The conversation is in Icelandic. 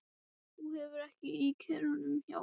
Þú hefur hann í kerrunni, já.